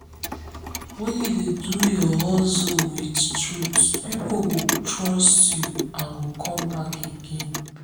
when you dey do your hustle with truth people go trust you and come back again.